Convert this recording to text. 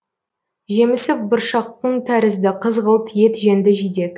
жемісі бұршаққын тәрізді қызғылт ет жеңді жидек